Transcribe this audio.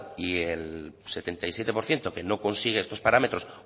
y el setenta y siete por ciento que no consigue estos parámetros